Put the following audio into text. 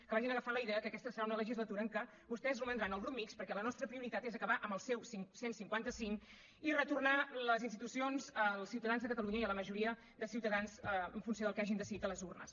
que vagin agafant la idea que aquesta serà una legislatura en què vostès romandran al grup mixt perquè la nostra prioritat és acabar amb el seu cent i cinquanta cinc i retornar les institucions al ciutadans de catalunya i a la majoria de ciutadans en funció del que hagin decidit a les urnes